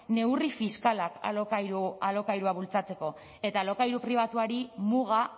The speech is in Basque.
neurri fiskalak alokairua bultzatzeko eta alokairu pribatuari muga